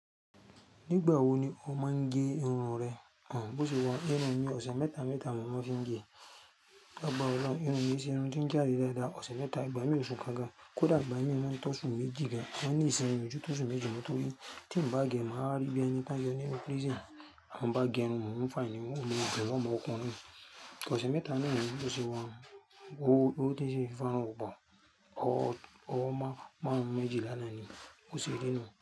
Nígbà wo ni o máa ń gẹ irun rẹ? Bó ṣe wa, irun mi ọ̀sẹ̀ mẹ́ta mẹ́ta mò maa ń fi ń gẹ. Lágbàra olórun, irun mi i ṣe irun ti ń je aye dáadáa ọ̀sẹ̀ mẹ́ta. Ìgbà mí òsù kan gan, kódà ìgbà mí o maa tọsún méjì gan, a mo ní ìṣin yii ko tu tọ osú méjì mó tó rí. Tí n bá gẹ, màá rí bí ẹni táyọ nínu prison. Ti n bá gẹ irun, mò ń fà ẹni mó ò le gbà ọmọ ọkùnrin. Ọ̀sẹ̀ mẹ́ta ni ìrùn mi bó ṣe wọ̀n. Ó ti ṣe fún ọ bà. Ó máa mú méjì lánàá ni bó ṣe rí inú.